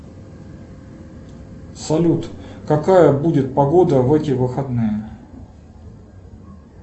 салют какая будет погода в эти выходные